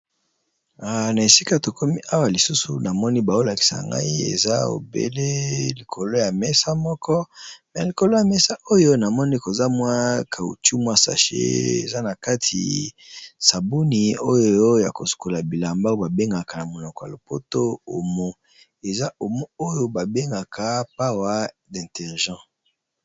Na esika to komi awa lisusu na moni bazo lakisa ngai eza obele likolo ya mesa moko . Na likolo ya mesa oyo na moni koza mwa caoutchou mwa sachet eza na kati sabuni oyo ya ko sukola bilamba ba bengaka na monoko ya lopoto omo. Eza omo oyo ba bengaka pawa détergent .